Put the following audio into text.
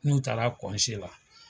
N'u taara la